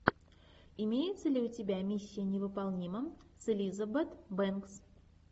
имеется ли у тебя миссия невыполнима с элизабет бэнкс